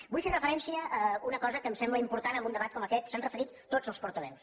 vull fer referència a una cosa que em sembla impor·tant en un debat com aquest s’hi han referit tots els portaveus